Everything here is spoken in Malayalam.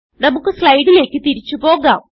നമുക്ക് സ്ലൈഡിലേക്ക് തിരിച്ച് പോകാം